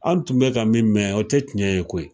An tun bɛ ka min mɛn, o tɛ tiɲɛ ye koyi.